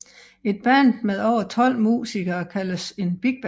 Et band med over tolv musikere kaldes et bigband